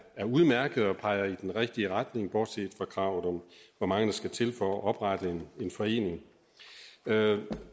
er udmærkede og peger i den rigtige retning bortset fra kravet om hvor mange der skal til for at oprette en forening